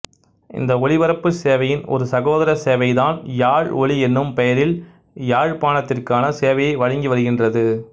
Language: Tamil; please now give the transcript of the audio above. இந்த ஒளிபரப்பு சேவையின் ஒரு சகோதர சேவை டான் யாழ் ஒளி எனும் பெயரில் யாழ்ப்பாணத்திற்கான சேவையை வழங்கி வருகின்றது